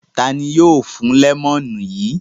Ta ni yóò fún lẹ́mọ́nù yìí?